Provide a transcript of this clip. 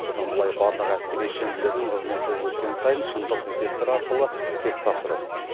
бұдан былай барлық әскери шенділердің қызметі өскен сайын шыңдық детекторы арқылы тест тапсырады